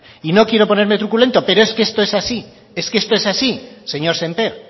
y no quiero ponerme truculento pero es que esto es así esto es así señor sémper